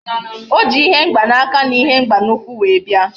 Oji ihe mgba na aka na ihe mgba na ukwu were bia